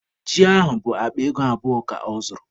Ji ahụ bụ akpa ego abụọ ka ọ zụrụ